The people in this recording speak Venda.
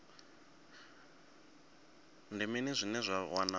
ndi mini zwine vha wana